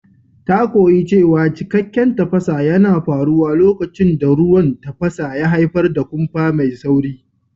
Ta koyi cewa cikakken tafasa yana faruwa lokacin da ruwan tafasa ya haifar da kumfa mai sauri.